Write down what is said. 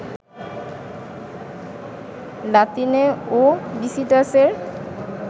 লাতিনে ওবিসিটাস এর